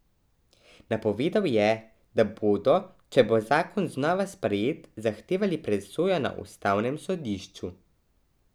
Napovedal je, da bodo, če bo zakon znova sprejet, zahtevali presojo na ustavnem sodišču.